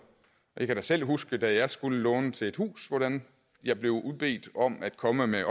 jeg kan da selv huske da jeg skulle låne til et hus hvordan jeg blev bedt om at komme med